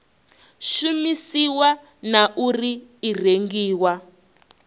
shumisiwa na uri i rengiwa